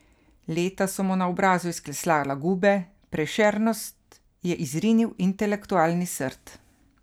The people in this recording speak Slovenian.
Leta so mu na obrazu izklesala gube, prešernost je izrinil intelektualni srd.